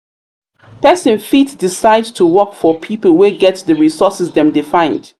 persin fit decide to work for pipo wey get di resources dem de find